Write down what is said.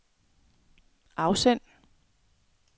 afsend